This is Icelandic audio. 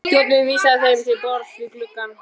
Þjónninn vísaði þeim til borðs við gluggann.